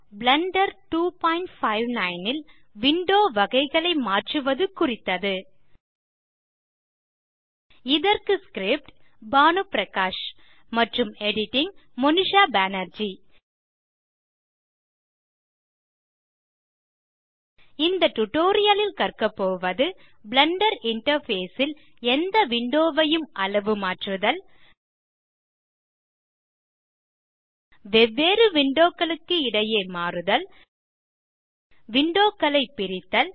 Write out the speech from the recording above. Blender 259 ல் window வகைகளை மாற்றுவது குறித்தது இதற்கு script160 பானு பிரகாஷ் மற்றும் editing160 மோனிஷா பேனர்ஜி இந்த டியூட்டோரியல் ல் கற்கபோவது பிளெண்டர் இன்டர்ஃபேஸ் ல் எந்த விண்டோ ஐயும் அளவுமாற்றுதல் வெவ்வேறு விண்டோ களுக்கு இடையே மாறுதல்160 விண்டோ களை பிரித்தல்